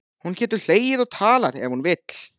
Hún getur hlegið og talað ef hún vill.